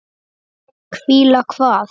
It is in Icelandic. Hvíla hvað?